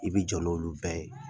I bɛ jɔ n'olu bɛɛ ye